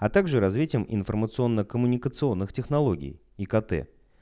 а также развитием информационно-коммуникационных технологий икт